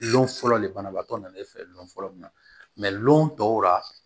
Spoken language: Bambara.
Lɔn fɔlɔ le banabaatɔ nana e fɛ lɔn fɔlɔ min na lɔn tɔw la